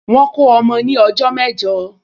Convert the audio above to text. Wọ́n kó ọmọ ní ọjọ́ mẹ́jọ